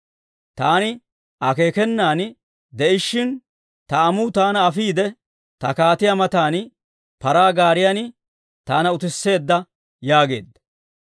Taani akeekenan de'ishiina, ta amuu taana afiide, ta kaatiyaa matan, paraa gaariyan taana utisseedda yaageedda.